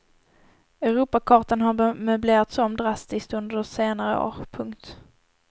Europakartan har möblerats om drastiskt under senare år. punkt